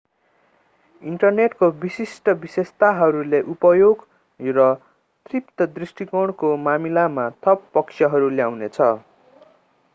इन्टरनेटको विशिष्ट विशेषताहरूले उपयोग र तृप्ति दृष्टिकोणको मामिलामा थप पक्षहरू ल्याउनेछ